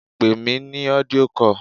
Pè mí ní audio call!